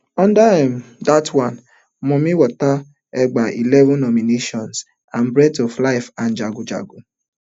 under um dat one mami wata gbab eleven nominations and breath of life and jagun jagun